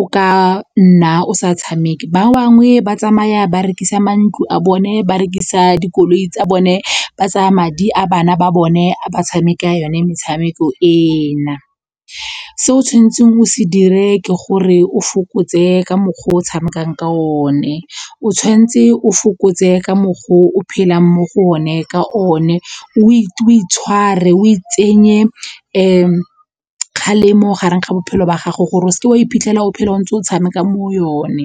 o ka nna o sa tshameke. Ba bangwe ba tsamaya ba rekisa mantlo a bone ba rekisa dikoloi tsa bone ba tsaya madi a bana ba bone a ba tshameka yone metshameko ena. Se o tshwanetseng o se dire ke gore o fokotse ka mokgwa o tshamekang ka one, o tshwanetse o fokotse ka mokgwa o phelang mo go one ka one, o itshware o itsenye kgalemo gareng ga bophelo ba gago gore o seke wa iphitlhela o phela o ntse o tshameka mo yone.